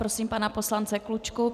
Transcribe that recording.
Prosím pana poslance Klučku.